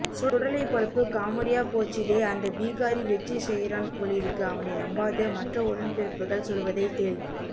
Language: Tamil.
சுடலை பொழப்பு காமெடியா போச்சுதே அந்த பீகாரி வெச்சு செய்யறான் போலிருக்கு அவனை நம்பாதே மற்ற உடன்பிறப்புக்கள் சொல்வதை கேள்